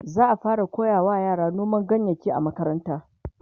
za'a fara koyawa yara noman ganyayaki a makaranta